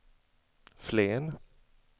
Flen